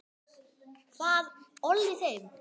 Hvað olli þeim?